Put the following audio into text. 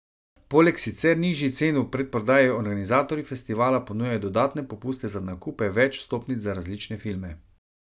Poleg sicer nižjih cen v predprodaji organizatorji festivala ponujajo dodatne popuste za nakupe več vstopnic za različne filme.